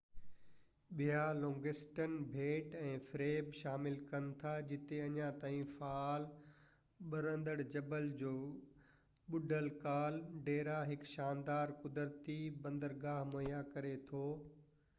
ٻيا لونگسٽن ٻيٽ ۽ فريب شامل ڪن ٿا جتي اڃا تائين فعال ٻرندڙ جبل جو ٻڏل ڪال ڊيرا هڪ شاندار قدرتي بندرگاهہ مهيا ڪري ٿو